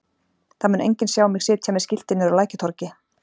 Það mun enginn sjá mig sitja með skilti niðri á Lækjartorgi.